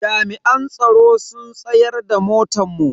Jami'an tsaro sun tsayar da motan mu.